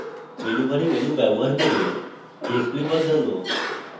menus bar menus bar করে display বদলানো